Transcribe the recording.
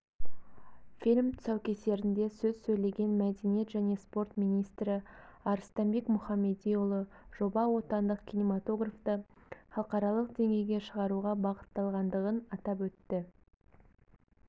фильм тұсаукесерінде сөз сөйлеген мәдениет және спорт министрі арыстанбек мұхамедиұлы жоба отандық кинематографты халықаралық деңгейге шығаруға бағытталғындығын атап өтті